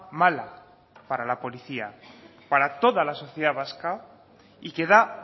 mala para la policía para toda la sociedad vasca y que da